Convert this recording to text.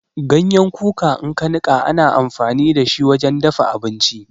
Ganyen kuka in aka nika ana amfani da shi wajen dafa abinci.